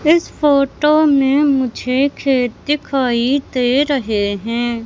इस फोटो में मुझे खेत दिखाई दे रहे हैं।